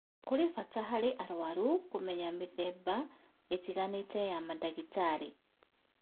Kũrĩ bata harĩ arũaru kũmenya mĩthemba ĩtiganĩte ya mandagĩtarĩ